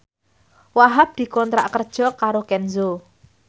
Wahhab dikontrak kerja karo Kenzo